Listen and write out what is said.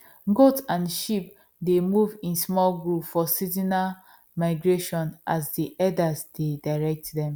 goat and sheep dey move in small group for seasonal migration as the herders dey direct them